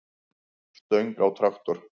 stöng á traktor.